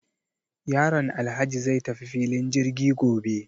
Yaron Alhaji zai tafi filin jirgi gobe.